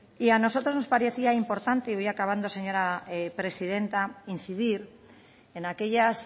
y a nosotros nos parecía importante y voy acabando señora presidenta incidir en aquellas